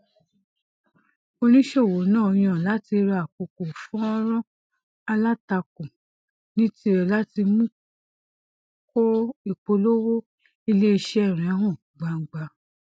oníṣòwò náà yàn láti rà àkókò fọńrọọ alátakò ní tirẹ láti mú kó ìpolówó iléiṣẹ rẹ hàn gbangba